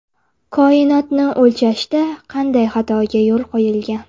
Koinotni o‘lchashda qanday xatoga yo‘l qo‘yilgan?